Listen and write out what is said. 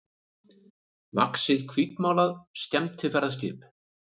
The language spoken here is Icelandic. vaxið hvítmálað skemmtiferðaskip.